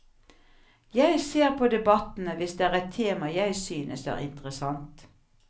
Jeg ser på debattene hvis det er et tema jeg synes er interessant.